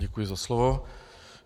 Děkuji za slovo.